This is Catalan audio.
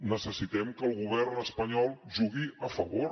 necessitem que el govern espanyol jugui a favor